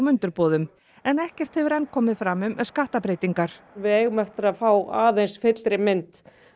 undirboðum ekkert hefur enn komið fram um skattabreytingar við eigum eftir að fá aðeins fyllri mynd